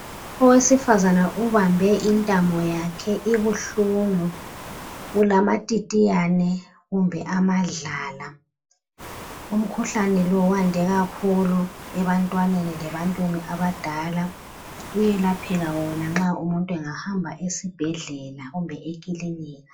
Owesifazane ubambe intamo yakhe ibuhlungu, ulama titiyane kumbe amadlala. Umkhuhlane lo wande kakhulu ebantwaneni lebantwini abadala. Uyelapheka wona nxa umuntu angahamba esibhedlela kumbe ekilinika.